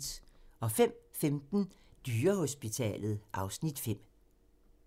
05:15: Dyrehospitalet (Afs. 5)